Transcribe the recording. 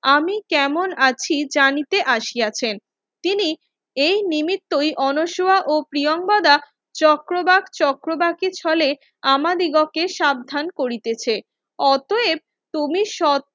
আমি কেমন আছি জানিতে আসিয়াছেন তিনি এই নিমিত্তই অনশোয়া ও প্রিয়ংবদা চক্রবাক চক্রবাখের ছলে আম দিগকে সাবধান করিতেছে অতয়েব তুমি